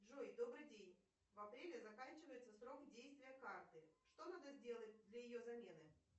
джой добрый день в апреле заканчивается срок действия карты что надо сделать для ее замены